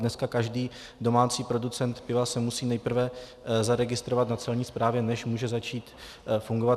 Dneska každý domácí producent piva se musí nejprve zaregistrovat na Celní správě, než může začít fungovat.